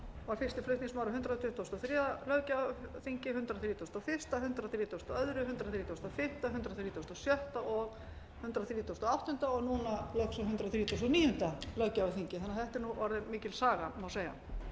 var fyrsti flutningsmaður á hundrað tuttugasta og þriðja löggjafarþingi hundrað þrítugasta og fyrstu hundrað þrítugasta og annað hundrað þrítugasta og þriðja hundrað þrítugasta og sjötta og hundrað þrítugasta og áttunda og núna loks á hundrað þrítugasta og níunda löggjafarþingi þannig að þetta er orðin mikil saga má segja